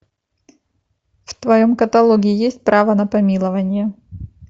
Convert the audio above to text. в твоем каталоге есть право на помилование